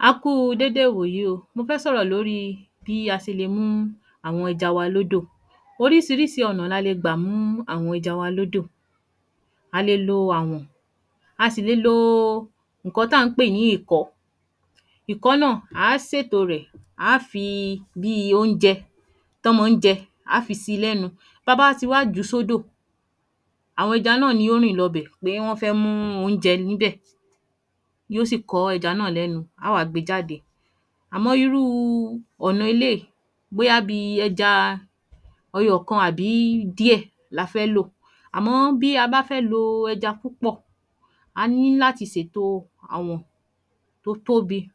A Kú u dédé ìwòyí o, mọ fẹ́ sọ̀rọ̀ lórí bí a ṣe le mú àwọn ẹja wa lódò. Orísirísi ọ̀nà ní a le gbà mú àwọn ẹja wa lódò. A le lo àwọ̀n, á sì le lo ńǹkan tí à n pè ní ìkọ̀ọ́, ìkọ́ọ́ náà á à ṣètò rẹ̀, à á fi bíi oúnjẹ tán mọ ń jẹ, à á fí síi lẹ́nu. Bí a bá wá ti wá jùú sódò àwọn ẹja náà ni ó rìn lọ bẹ̀ pé wọ́n fẹ́ mú oúnjẹ níbẹ̀, yó ó sì kọ́ ẹja náà lẹ́nu, á à wá gbé e jáde. Àmọ́ irúu ọ̀nà eléyì, bóyá bíi ẹja ẹyọ kan àbí díẹ̀ la fẹ́ lò. Àmọ́ bí a bá fẹ́ lo ẹja púpọ̀, a ní láti sètò àwọ̀n tó tóbi, à